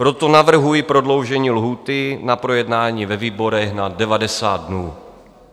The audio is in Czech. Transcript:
Proto navrhuji prodloužení lhůty na projednání ve výborech na 90 dnů.